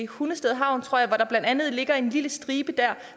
hundested havn tror jeg hvor der blandt andet ligger en lille stribe der